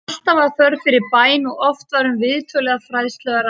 Alltaf var þörf fyrir bæn og oft var um viðtöl eða fræðslu að ræða.